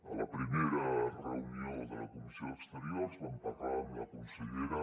a la primera reunió de la comissió d’exteriors vam parlar amb la consellera